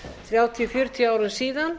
þrjátíu fjörutíu árum síðan